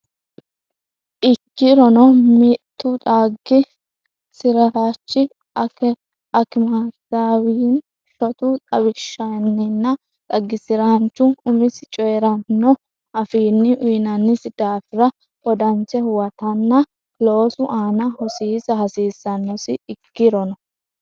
Ikkirono, mittu xagi- siraanchi akimetewayinni shotu xawishshinninna xagisiraanchu umisi coyi’ranno afiinni uyinannisi daafira wodanche huwatanna loosu aana hosiisa hasiissannosi Ikkirono,.